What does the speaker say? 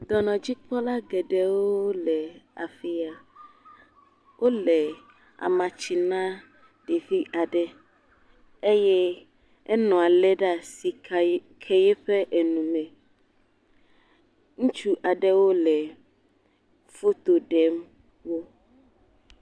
Dɔnɔdzikpɔla geɖewo le afia. Wole amatsi nam ɖevi aɖe eye enɔa li ɖe asi ke eƒe nu nɛ. Ŋutsu aɖewo le foto ɖem wo.